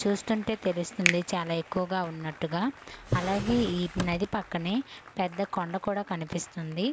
చూస్తుంటే తెలుస్తుంది చాలా ఎక్కువగా ఉన్నట్టుగా అలాగే ఈ నది పక్కనే పెద్ద కొండ కూడా కనిపిస్తుంది.